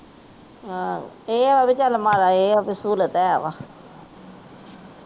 ਆਹੋ ਇਹ ਵੀ ਚੱਲ ਮਹਾਰਾਜਾ ਇਹ ਵੀ ਸਹੂਲਤ ਹੈ ਵਾ।